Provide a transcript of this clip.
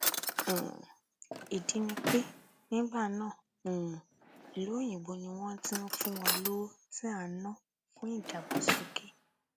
um ìdí ni pé nígbà náà um ìlú òyìnbó ni wọn ti ń fún wa lówó tí à ń ná fún ìdàgbàsókè